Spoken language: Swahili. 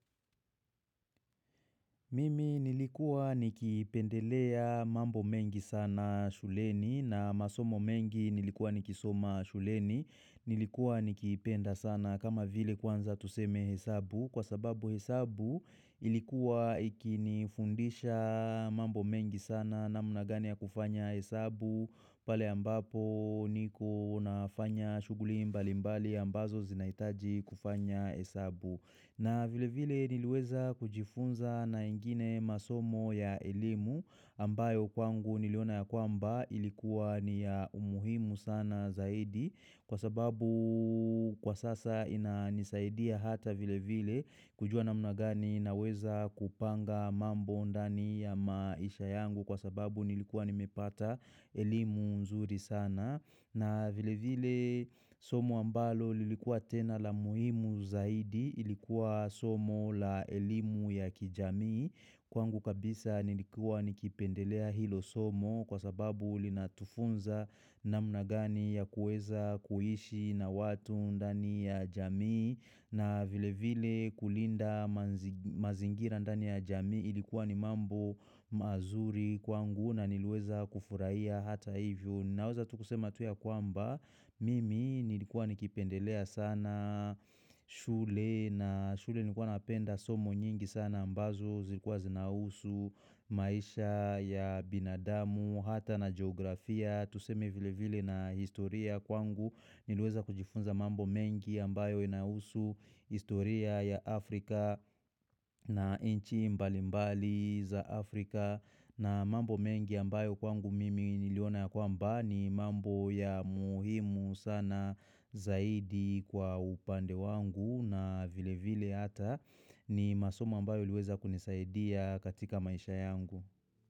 Mimi nilikua nikipendelea mambo mengi sana shuleni na masomo mengi nilikua nikisoma shuleni nilikua nikipenda sana kama vile kwanza tuseme hesabu kwa sababu hesabu ilikuwa ikinifundisha mambo mengi sana namna gani ya kufanya hesabu pale ambapo niko na fanya shuguli mbali mbali ambazo zinaitaji kufanya hesabu na vile vile niliweza kujifunza na ingine masomo ya elimu ambayo kwangu niliona ya kwamba ilikuwa ni ya umuhimu sana zaidi kwa sababu kwa sasa ina nisaidia hata vile vile kujua namnagani na weza kupanga mambo undani ya maisha yangu kwa sababu nilikuwa nimepata elimu mzuri sana. Na vile vile somo ambalo lilikuwa tena la muhimu zaidi ilikuwa somo la elimu ya kijami kwangu kabisa nilikua nikipendelea hilo somo kwa sababu li natufunza na mnagani ya kueza kuhishi na watu ndani ya jami na vile vile kulinda mazingira ndani ya jamii ilikuwa ni mambo mazuri kwangu na niliweza kufuraiya hata hivyo naweza tukusema ya kwamba mimi nilikuwa nikipendelea sana shule na shule nikuwa napenda somo nyingi sana ambazo zikuwa zinausu maisha ya binadamu hata na geografia tuseme vile vile na historia kwangu Nilueza kujifunza mambo mengi ambayo inausu historia ya Afrika na inchi mbali mbali za Afrika na mambo mengi ambayo kwangu mimi niliona ya kwamba ni mambo ya muhimu sana zaidi kwa upande wangu na vile vile hata ni masoma ambayo iliweza kunisaidia katika maisha yangu.